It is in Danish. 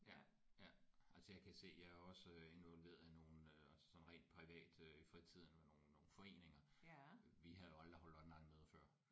Ja ja altså jeg kan se jeg er også involveret i nogle øh altså sådan rent privat øh i fritiden med nogle nogle foreninger øh vi havde jo aldrig holdt onlinemøder før